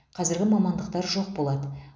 қазіргі мамандықтар жоқ болады